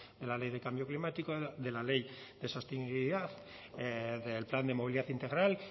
de la ley de cambio climático de la ley de sostenibilidad del plan de movilidad integral